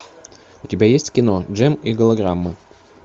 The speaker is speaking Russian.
у тебя есть кино джем и голограммы